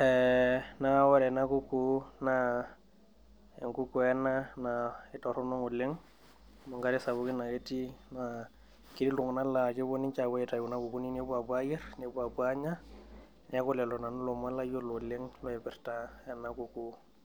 ,ee neaku ore ena kukuu na enkukuu ena natoronok emgare sapukin ake etii naa ketii ltunganak la kepuo ninche nepuo aitau kuna kukuuni nepuo ayier, nepuo apuo anya, neaku lolo lomon layiololorpirra anaakukuu.